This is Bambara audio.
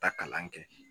Taa kalan kɛ